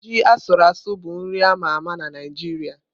Ji asuru asu bụ nri a ma ama na Naịjirịa.